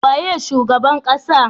Waye shugaban ƙasa?